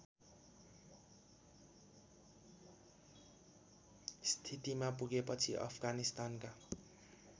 स्थितिमा पुगेपछि अफगानिस्तानका